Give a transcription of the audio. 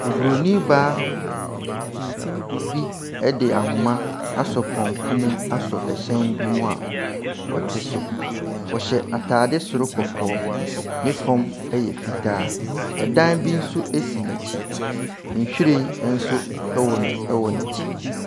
Oburonin baa bi de ahoma asɔ pɔnkɔ mu asɔ hyɛn bi mu a ɔte so. Ɔhyɛ atadeɛ soro kɔkɔɔ. Ne fam yɛ fitaa. Dan bi nso si n'akyi. Nhwiren nso wɔ no wɔ n'akyi.